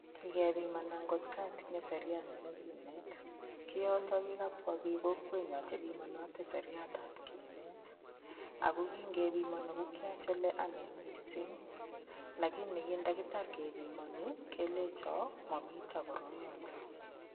Kikepimanan ng'ot atinye seriat nebo kineet, koyoton ko kikabwaa biikab kokwenyon chekibinote seriatab kinet ako kingepimoni ko kiyach anee olee mising lakini kiin ndakitar kebimoni kelenchon momiten koroyoton.